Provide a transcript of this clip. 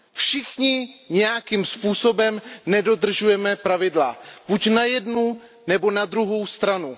Všichni nějakým způsobem nedodržujeme pravidla, buď na jednu, nebo na druhou stranu.